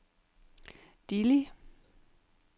Dili